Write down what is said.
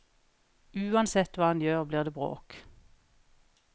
Uansett hva han gjør, blir det bråk.